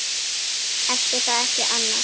Ætli það ekki annars.